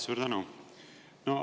Suur tänu!